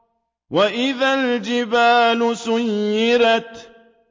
وَإِذَا الْجِبَالُ سُيِّرَتْ